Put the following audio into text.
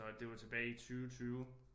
Så det var tilbage i 20 20